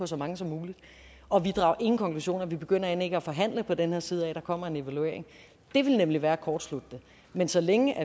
så mange som muligt og vi drager ingen konklusioner vi begynder end ikke at forhandle på den her side af at der kommer en evaluering det ville nemlig være at kortslutte det men så længe